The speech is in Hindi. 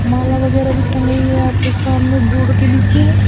माला वगैरा भी टंग रही हैं यहां पर सामने बोर्ड के नीचे।